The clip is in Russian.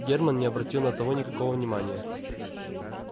германн не обратил на того никакого внимания